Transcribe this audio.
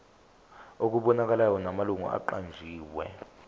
okubonakalayo namalungu aqanjiwe